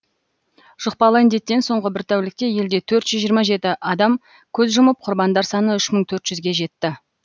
жұқпалы індеттен соңғы бір тәулікте елде төрт жүз жиырма жеті адам көз жұмып құрбандар саны үш мың төрт жүзге жетті